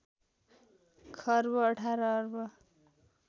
खर्ब १८ अर्ब